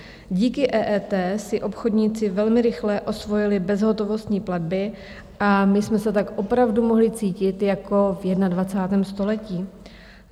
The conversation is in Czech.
Díky EET si obchodníci velmi rychle osvojili bezhotovostní platby a my jsme se tak opravdu mohli cítit jako v 21. století.